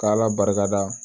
K'ala barikada